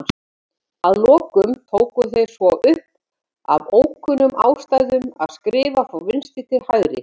Að lokum tóku þeir svo upp, af ókunnum ástæðum, að skrifa frá vinstri til hægri.